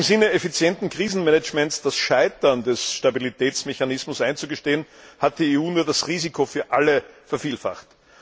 Anstatt im Sinne effizienten Krisenmanagements das Scheitern des Stabilitätsmechanismus einzugestehen, hat die EU nur das Risiko für alle vervielfacht.